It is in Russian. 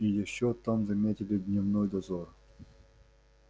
и ещё там заметили дневной дозор